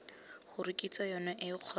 gore kitso yone eo kgotsa